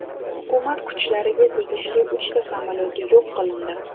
Hukumat kuchlariga tegishli uchta samolyot yo‘q qilindi.